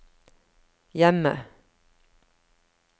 hjemme